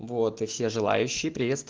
вот и все желающие